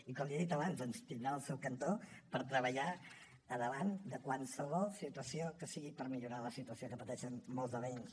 i com li he dit abans doncs ens tindrà al seu cantó per treballar davant de qualsevol situació que sigui per millorar la situació que pateixen molts de veïns